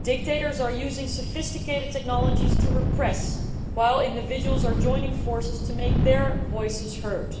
Dictators are using sophisticated technologies to repress, while individuals are joining forces to make their voices heard.